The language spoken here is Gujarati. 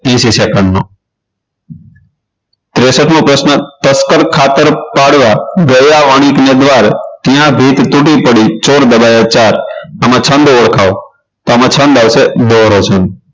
UC સેકન્ડનો ત્રેસઠ મો પ્રશ્ન તત્કર ખાતર પાડવા વાણિક ને ધ્વાર ન્યા ભીત તૂટી પડી ચોર દબાયો ચાર આમાં છંદ ઓળખાવો આમાં છંદ આવશે બોરો છંદ